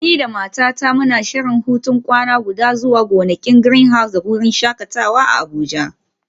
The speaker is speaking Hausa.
Ni da matata muna shirin hutun kwana guda zuwa gonakin Greenhouse da wurin shakatawa a Abuja.